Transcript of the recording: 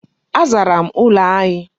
Azara m ụlọ anyi.